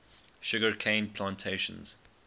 sugar cane plantations